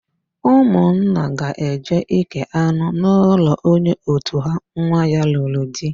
Ụmụnna ga-eje íkè anụ n'ụlọ onye òtù ha nwa ya lụrụ di.